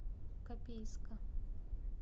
копейска